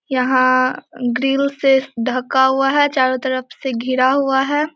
यहाँ ग्रिल से ढका हुआ है चारो तरफ से घिरा हुआ है।